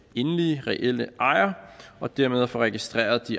endelige reelle ejer og dermed få registreret